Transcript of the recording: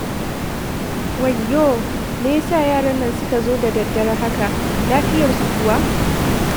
Wayyo! Me ya sa yaran nan suka zo da daddare haka? Lafiyarsu kuwa?